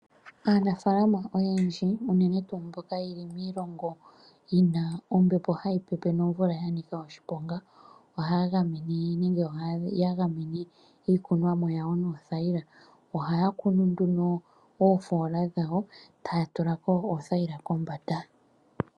Aanafaalama oyendji unene tuu mboka ye li miilongo yi na ombepo hayi pepe nomvula ya nika oshiponga ohaya gamene iikunomwa yawo noothayila. Ohaya kunu nduno oofola dhawo taya tula ko oothayila kombanda.